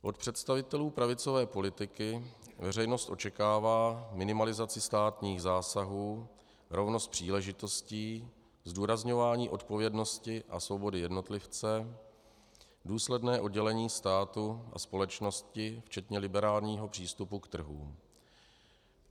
Od představitelů pravicové politiky veřejnost očekává minimalizaci státních zásahů, rovnost příležitostí, zdůrazňování odpovědnosti a svobody jednotlivce, důsledné oddělení státu a společnosti včetně liberálního přístupu k trhům.